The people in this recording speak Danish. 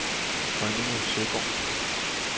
Rønninge Søgård